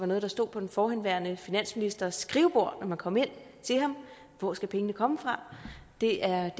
det stod på den forhenværende finansministers skrivebord når man kom ind til ham hvor skal pengene komme fra det er